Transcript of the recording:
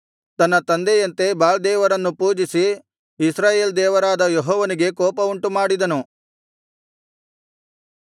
ತನ್ನ ತಂದೆಯಂತೆ ಬಾಳ್ ದೇವರನ್ನು ಪೂಜಿಸಿ ಇಸ್ರಾಯೇಲ್ ದೇವರಾದ ಯೆಹೋವನಿಗೆ ಕೋಪ ಉಂಟುಮಾಡಿನು